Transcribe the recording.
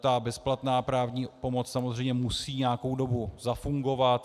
Ta bezplatná právní pomoc samozřejmě musí nějakou dobu zafungovat.